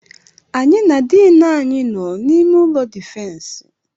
Anyị na diini anyị nọ n'ime ụlọ difensi.